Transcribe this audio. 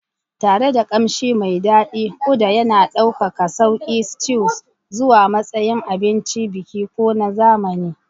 Tare da ƙamshi mai daɗi, uda yana ɗaukaka sauƙi stews zuwa matsayin abincin biki ko na zamani.